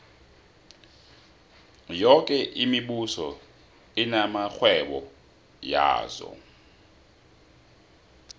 yoke imibuso inamarhwebo yazo